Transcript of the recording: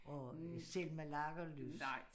Og øh Selma Lagerlöfs